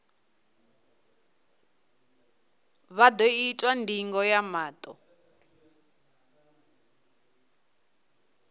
vha ḓo itwa ndingo ya maṱo